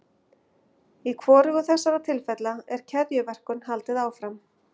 Í hvorugu þessara tilfella er keðjuverkun haldið áfram.